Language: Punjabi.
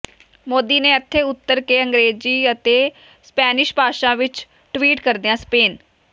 ਮੋਦੀ ਨੇ ਇਥੇ ਉਤਰ ਕੇ ਅੰਗਰੇਜੀ ਅਤੇ ਸਪੈਨਿਸ਼ ਭਾਸ਼ਾ ਵਿਚ ਟਵੀਟ ਕਰਦਿਆਂ ਸਪੇਨ